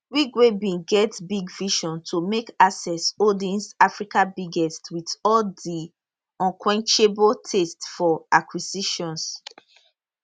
wigwe bin get big vision to make access holdings africa biggest wit all di unquenchable thirst for acquisitions